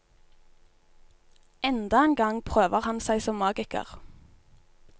Enda en gang prøver han seg som magiker.